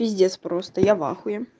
пиздец просто я в ахуе